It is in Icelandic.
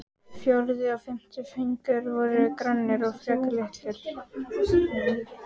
Fjórði og fimmti fingur voru grannir og frekar litlir.